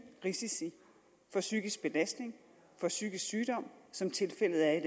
risici for psykisk belastning for psykisk sygdom som tilfældet er i